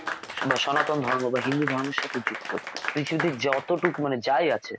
বা সনাতন ধর্ম বা হিন্দুধর্মের সাথে যুক্ত . যতটুকু মানে যাই আছে